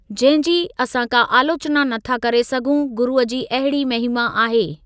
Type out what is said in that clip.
जंहिं जी असां का आलोचना नथा करे सघूं गुरुअ जी अहिड़ी महिमा आहे।